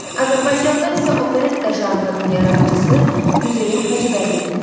Azərbaycanda isə operetta janrının yaradıcısı Üzeyir Hacıbəylidir.